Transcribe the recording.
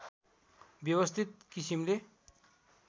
व्यवस्थित किसिमले